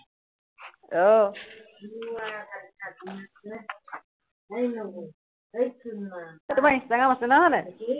আহ আহ তোমাৰ ইন্সট্ৰাগ্ৰাম আছে ন, হয় নাই?